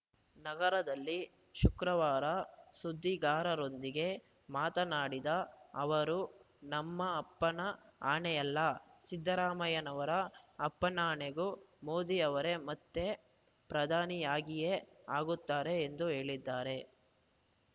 ನಗರದಲ್ಲಿ ಶುಕ್ರವಾರ ಸುದ್ದಿಗಾರರೊಂದಿಗೆ ಮಾತನಾಡಿದ ಅವರು ನಮ್ಮಪ್ಪನ ಆಣೆಯಲ್ಲ ಸಿದ್ದರಾಮಯ್ಯನವರ ಅಪ್ಪನಾಣೆಗೂ ಮೋದಿ ಅವರೇ ಮತ್ತೆ ಪ್ರಧಾನಿಯಾಗಿಯೇ ಆಗುತ್ತಾರೆ ಎಂದು ಹೇಳಿದ್ದಾರೆ